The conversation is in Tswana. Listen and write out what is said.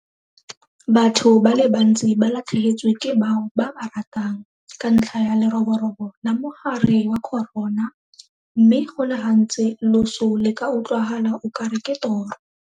Batho ba le bantsi ba latlhegetswe ke bao ba ba ratang ka ntlha ya leroborobo la mogare wa corona mme go le gantsi loso le ka utlwala o kare ke toro.